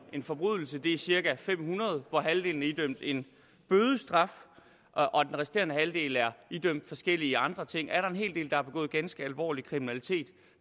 en forbrydelse det er cirka fem hundrede hvoraf halvdelen er idømt en bødestraf og den resterende halvdel er idømt forskellige andre ting har begået ganske alvorlig kriminalitet